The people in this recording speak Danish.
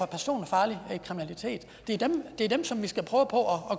personfarlig kriminalitet det er dem som vi skal prøve på at